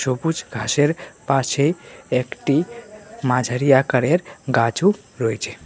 সবুজ ঘাসের পাশে একটি মাঝারি আকারের গাছও রয়েছে।